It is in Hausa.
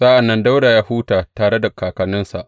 Sa’an nan Dawuda ya huta tare da kakanninsa.